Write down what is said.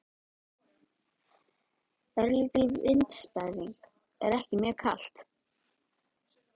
Örlítill vindsperringur en ekki mjög kalt.